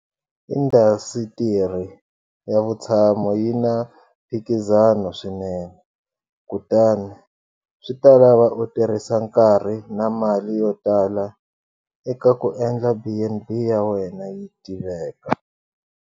Indhasitiri ya vutshamo yi na mphikizano swinene, kutani swi ta lava u tirhisa nkarhi na mali yotala eka ku endla B and B ya wena yi tiveka.